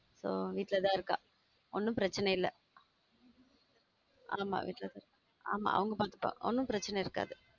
So வீட்லதான் இருக்கா ஒன்னும் பிரச்சனை இல்ல ஆமா வீட்லதான் இருக்கு ஒன்னும் பிரச்சனை இருக்காது